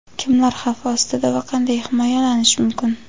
Kimlar xavf ostida va qanday himoyalanish mumkin?.